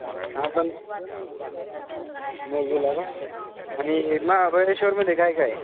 हा पण, नववीला का? आणि महाबळेश्वर मध्ये काय काय आहे?